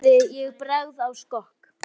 Af gleði ég bregð á skokk.